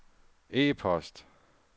e-post